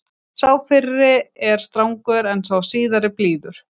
sá fyrri er strangur en sá síðari blíður